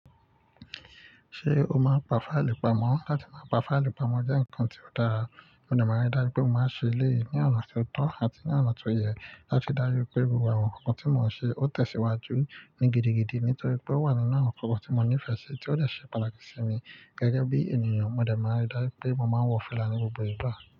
Ṣé o máa ń pa fáìlì pamọ́? Láti máa pa fáìlì pamọ́ jẹ́ ǹkan tí ó dára, mo dẹ̀ máa ń rí dájú pé mo máa ń ṣe léyìí ní ọ̀nà tó tọ́ àti ní ọ̀nà tó yẹ láti dájú pé gbogbo àwọn ǹkan tí mò ń ṣe ó tẹ̀síwájú ní gidigidi nítorí pé ó wà nínú àwọn ǹkan tí mo nífẹ̀ẹ́ sí tí ó dè ṣe pàtàkì sí mi gẹ́gẹ́ bí ènìyàn. Mo dẹ̀ máa ń rí dájú pé mo máa wọ fila ní gbogbo ìgbà.